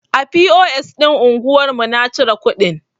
A POS ɗin anguwar mu na cire kuɗin.